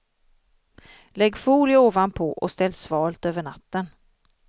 Lägg folie ovanpå och ställ svalt över natten.